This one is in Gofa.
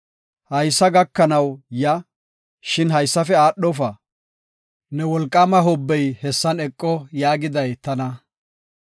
“Haysa gakanaw ya; shin haysafe aadhofa; ne wolqaama hobbey hessan eqo” yaagiday tana.